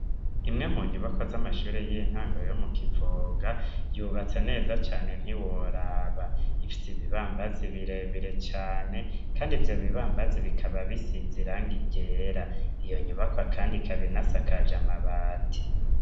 Imwe mu nyubakwa z'amashuri y'intango yo mu kivoga yubatse neza cane ntiworaba ifise ibibambazi birebire cane kandi ivyo bibambazi bikaba bisize irangi ryera iyo nyubaka kandi ikabinasakaje amabati.